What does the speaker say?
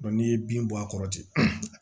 n'i ye bin bɔ a kɔrɔ ten